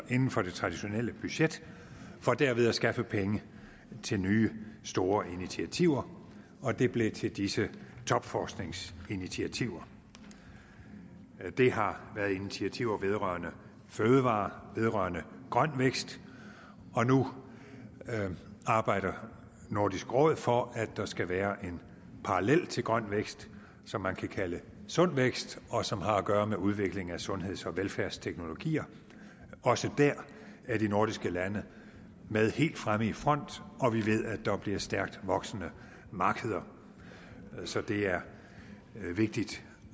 inden for det traditionelle budget for derved at skaffe penge til nye store initiativer og det blev til disse topforskningsinitiativer det har været initiativer vedrørende fødevarer vedrørende grøn vækst og nu arbejder nordisk råd for at der skal være en parallel til grøn vækst som man kan kalde sund vækst og som har at gøre med udviklingen af sundheds og velfærdsteknologier også der er de nordiske lande med helt fremme i front og vi ved at der bliver stærkt voksende markeder så det er vigtigt